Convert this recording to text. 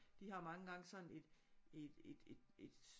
De har mange gange sådan et et et et